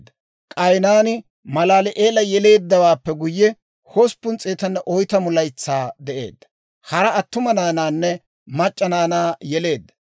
K'aynaani Malaali'eela yeleeddawaappe guyye, 840 laytsaa de'eedda; hara attuma naanaanne mac'c'a naanaa yeleedda.